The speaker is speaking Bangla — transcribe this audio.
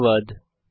ধন্যবাদ